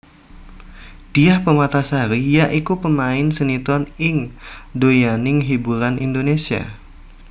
Diah Permatasari ya iku pemain sinetron ing donyaning hiburan Indonesia